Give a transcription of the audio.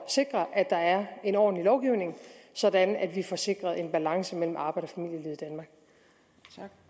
sikre at der er en ordentlig lovgivning sådan at vi får sikret en balance mellem arbejds